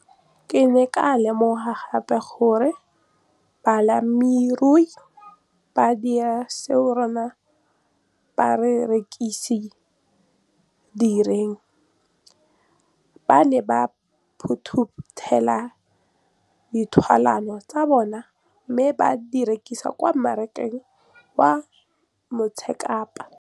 Ke ne ka lemoga gape gore balemirui ba dira seo rona barekisi re se dirang - ba ne ba phuthela ditholwana tsa bona mme ba di rekisa kwa marakeng wa Motsekapa.